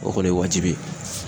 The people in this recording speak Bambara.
O kɔni ye wajibi ye.